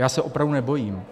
Já se opravdu nebojím.